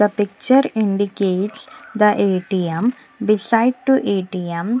the picture indicates the A_T_M beside to A_T_M.